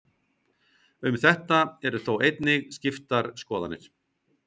Um þetta eru þó einnig skiptar skoðanir.